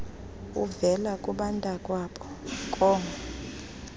uvela kubantakwabo koo